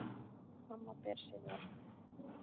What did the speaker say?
Amma ber sig vel.